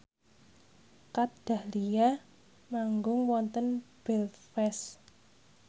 Kat Dahlia manggung wonten Belfast